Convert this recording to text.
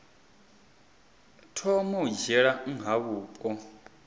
thoma u dzhiela nha vhupo